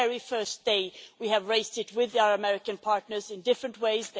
Since the very first day, we have raised it with our American partners in different ways.